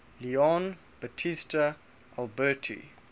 leon battista alberti